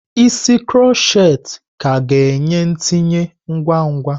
Isi kroshet ka ga-enye ntinye ngwa ngwa.